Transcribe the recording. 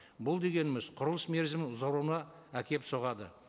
бұл дегеніміз құрылыс мерзімі ұзаруына әкеліп соғады